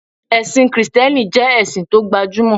Ẹ̀sìn kìtẹ́nì jẹ́ ẹ̀sìn tó gba jú mọ̀